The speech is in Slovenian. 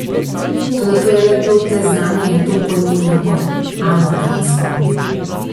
Toda to je le plod neznanja in to pojmujem pod anorgansko.